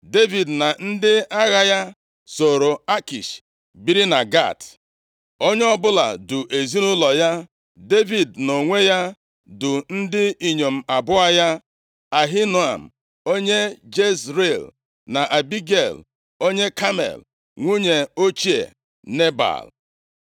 Devid na ndị agha ya sooro Akish biri na Gat. Onye ọbụla du ezinaụlọ ya. Devid nʼonwe ya du ndị inyom abụọ ya: Ahinoam onye Jezril, na Abigel onye Kamel, nwunye ochie Nebal.